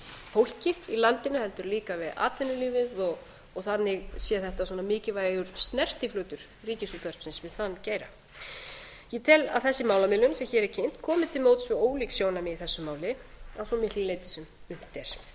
fólkið í landinu heldur líka við atvinnulífið og þannig sé þetta svona mikilvægur snertiflötur ríkisútvarpsins við þann geira ég tel að þessi málamiðlun sem hér er kynnt komi til móts við ólík sjónarmið í þessu máli að svo miklu leyti sem unnt er á þeim fimm árum sem liðin eru